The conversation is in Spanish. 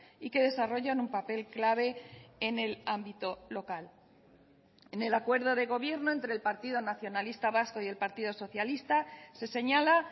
y que desarrollan un papel clave en el ámbito local en el acuerdo de gobierno entre el partido nacionalista vasco y el partido socialista se señala